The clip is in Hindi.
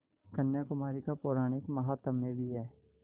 कन्याकुमारी का पौराणिक माहात्म्य भी है